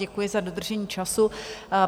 Děkuji za dodržení času.